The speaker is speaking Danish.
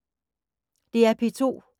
DR P2